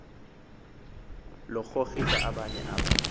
lokugrogrisa abanye aba